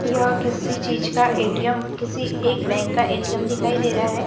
यह किसी चीज का ए_टी_एम किसी एक बैंक का ए_टी_एम दिखाई दे रहा है।